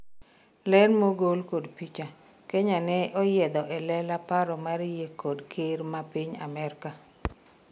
ler mogol kod picha, Kanye ne onyiedho e lela paro mar yie kod ker ma piny Amerka